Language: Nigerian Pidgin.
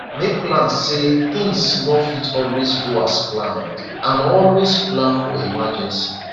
make plans sey things no fit always go as planned and always plan for emergency